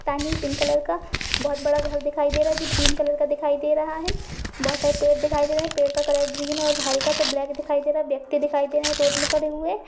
Pink colour का बोहोत बड़ा घर दिखाई दे रहा है जो ग्रीन कलर का दिखाई दे रहा है। बोहोत सारे पेड़ दिखाई दे रहे हैं। पेड़ का कलर ग्रीन और हल्का सा ब्लैक दिखाई दे रहा है। व्यक्ति दिखाई दे रहे हैं रोड में खड़े हुए।